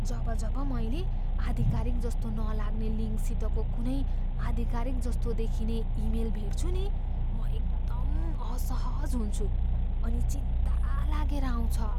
जब जब मैले आधिकारिक जस्तो नलाग्ने लिङ्कसितको कुनै आधिकारिकजस्तो देखिने इमेल भेट्छु नि म एकदम असहज हुन्छु, अनि चिन्ता लागेर आउँछ।